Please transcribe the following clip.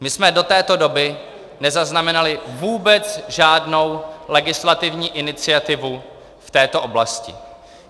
My jsme do této doby nezaznamenali vůbec žádnou legislativní iniciativu v této oblasti.